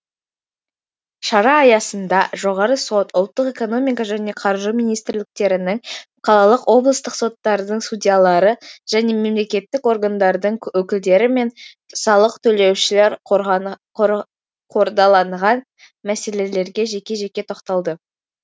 шара аясында жоғарғы сот ұлттық экономика және қаржы министрліктерінің қалалық облыстық соттардың судьялары және мемлекеттік органдардың өкілдері мен салық төлеушілер қордаланған мәселелерге жеке жеке тоқталды